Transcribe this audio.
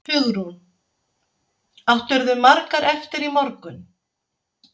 Hugrún: Áttirðu margar eftir í morgun?